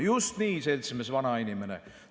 "– "Just nii, seltsimees vanainimene!